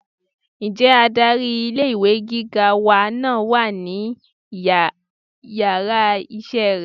nje adarí ilé ìwé gíga wa náà wà ní iyàrá iṣẹ rẹ?